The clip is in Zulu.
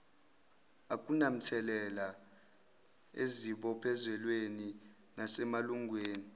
akunamthelela ezibophezelweni nasemalungelweni